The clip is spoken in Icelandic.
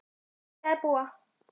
Hvar vilja þær búa?